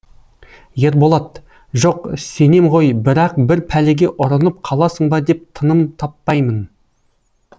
ерболат жоқ сенем ғой бірақ бір пәлеге ұрынып қаласың ба деп тыным таппаймын